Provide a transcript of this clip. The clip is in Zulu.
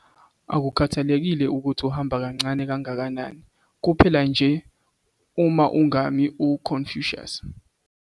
Akukhathalekile ukuthi uhamba kancane kangakanani kuphela nje uma ungami. - u-Confucius